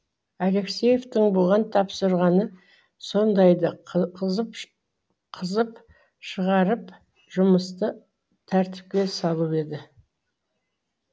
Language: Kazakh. алексеевтің бұған тапсырғаны сондайды қызып шығарып жұмысты тәртіпке салу еді